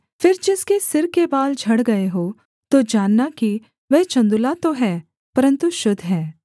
फिर जिसके सिर के बाल झड़ गए हों तो जानना कि वह चन्दुला तो है परन्तु शुद्ध है